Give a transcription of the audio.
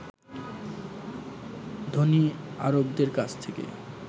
ধনী আরবদের কাছ থেকে